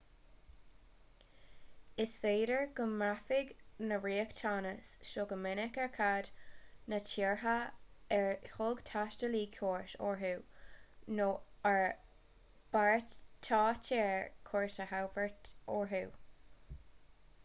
is féidir go mbraithfidh na riachtanais seo go minic ar cad na tíortha ar thug taistealaí cuairt orthu nó a mbeartaítear cuairt a thabhairt orthu